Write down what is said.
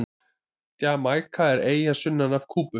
Jamaíka er eyja sunnan af Kúbu.